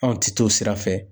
Anw ti t'o sira fɛ.